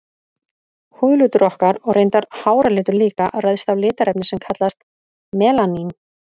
Húðlitur okkar, og reyndar háralitur líka, ræðst af litarefni sem kallast melanín.